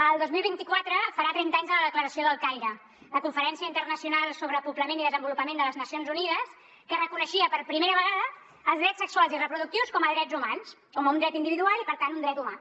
el dos mil vint quatre farà trenta anys de la declaració del caire la conferència internacional sobre poblament i desenvolupament de les nacions unides que reconeixia per primera vegada els drets sexuals i reproductius com a drets humans com un dret individual i per tant un dret humà